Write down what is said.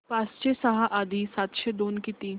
पाचशे सहा अधिक सातशे दोन किती